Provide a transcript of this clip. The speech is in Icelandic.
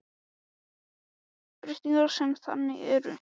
Breytingar sem þannig eru gerðar erfast ekki.